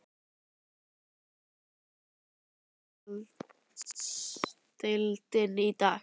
Hvar stendur enska úrvalsdeildin í dag?